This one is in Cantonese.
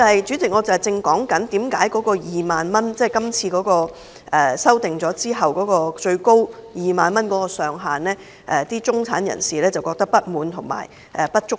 主席，我正解釋為何今次《條例草案》所訂的最高退稅上限2萬元，中產人士覺得不滿及不足夠。